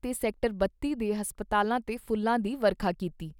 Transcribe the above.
ਤੇ ਸੈਕਟਰ ਬੱਤੀ ਦੇ ਹਸਪਤਾਲਾਂ 'ਤੇ ਫੁੱਲਾਂ ਦੀ ਵਰਖਾ ਕੀਤੀ।